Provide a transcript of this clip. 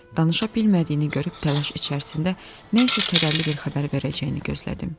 Danışa bilmədiyini görüb təlaş içərisində nə isə kədərli bir xəbər verəcəyini gözlədim.